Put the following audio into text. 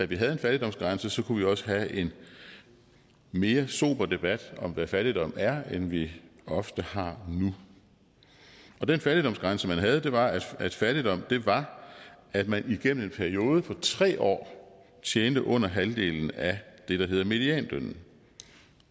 vi havde en fattigdomsgrænse kunne vi også have en mere sober debat om hvad fattigdom er end vi ofte har nu den fattigdomsgrænse man havde var at fattigdom var at man igennem en periode på tre år tjente under halvdelen af det der hedder medianlønnen